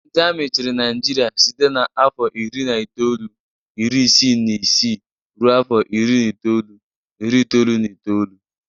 Ndi Amị chirị naijiria site na afọ iri na itọọlu, ịrị ịsị na ịsị ruo afọ ịrị n'ịtọọlu, ịrị itọọlu na ịtọọlu